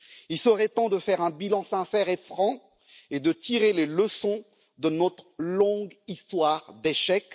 Il serait temps de faire un bilan sincère et franc et de tirer les leçons de notre longue histoire d'échecs.